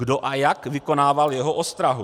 Kdo a jak vykonával jeho ostrahu?